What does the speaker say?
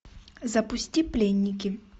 запусти пленники